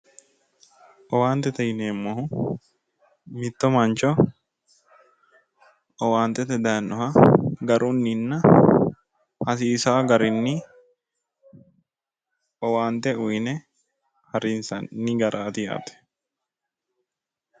Owaantete yineemmohu mitto mancho owaantete daynoha garunninna hasiisaa garii owaante uyne harinsanni garaati yaate